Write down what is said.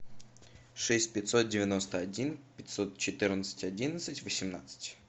шесть пятьсот девяносто один пятьсот четырнадцать одиннадцать восемнадцать